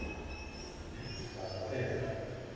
ekki hvað það er.